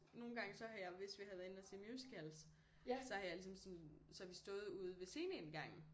Nogen gange så har jeg hvis vi har været inde og se musicals så har jeg ligesom sådan så har vi stået ude ved scene indgangen